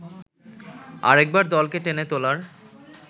আরেকবার দলকে টেনে তোলার